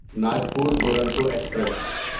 Nagpur Duronto express